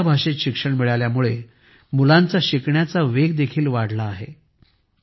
स्वतःच्या भाषेत शिक्षण मिळाल्यामुळे मुलांचा शिकण्याचा वेग देखील वाढला आहे